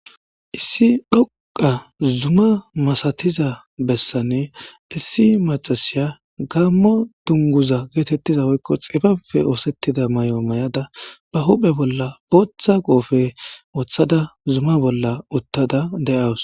issi dhoqa zuma masatiza bessanne issi maxasiya gaammo dunguza geetettiza woykko xifape oosettida may7o may7ada ba huphe bolla ooththa goofe woththada zuma bolla uttada de7awus